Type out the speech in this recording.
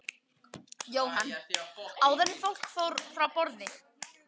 Jóhann: Áður en fólk fór frá borði?